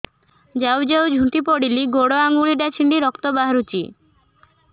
ଯାଉ ଯାଉ ଝୁଣ୍ଟି ପଡ଼ିଲି ଗୋଡ଼ ଆଂଗୁଳିଟା ଛିଣ୍ଡି ରକ୍ତ ବାହାରୁଚି